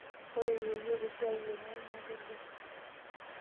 Ore yeyio esiai enye naa kegol.